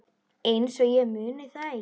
Einsog ég muni það ekki!